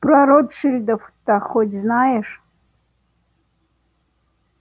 про ротшильдов-то хоть знаешь